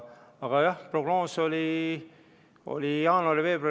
Aga jah, prognoos oli.